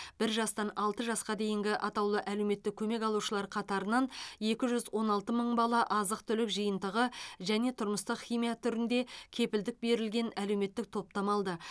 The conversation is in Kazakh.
бір жастан алты жасқа дейінгі атаулы әлеуметтік көмек алушылар қатарынан екі жүз он алты мың бала азық түлік жиынтығы және тұрмыстық химия түрінде кепілдік берілген әлеуметтік топтама алды